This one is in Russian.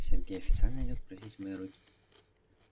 сергей официально идёт просить моей руки